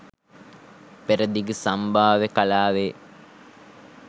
පෙරදිග සම්භාව්‍ය කලාවේ